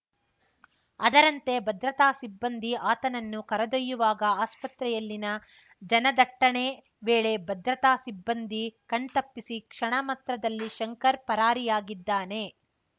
ಅದರಂತೆ ಭದ್ರತಾ ಸಿಬ್ಬಂದಿ ಆತನನ್ನು ಕರೆದೊಯ್ಯುವಾಗ ಆಸ್ಪತ್ರೆಯಲ್ಲಿನ ಜನದಟ್ಟಣೆ ವೇಳೆ ಭದ್ರತಾ ಸಿಬ್ಬಂದಿ ಕಣ್ತಪ್ಪಿಸಿ ಕ್ಷಣ ಮಾತ್ರದಲ್ಲಿ ಶಂಕರ್‌ ಪರಾರಿಯಾಗಿದ್ದಾನೆ